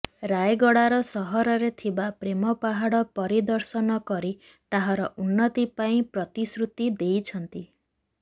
ରାୟଗଡା ର ସହରରେ ଥିବା ପ୍ରେମ ପାହାଡ ପରିଦର୍ଶନ କରି ତାହାର ଉନ୍ନତି ପାଇଁ ପ୍ରତିଶ୍ରୁତି ଦେଇଛନ୍ତି